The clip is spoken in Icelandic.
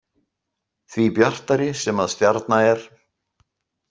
Því bjartari sem að stjarna er.